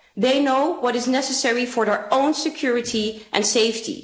They know what is necessary for their own security and safety.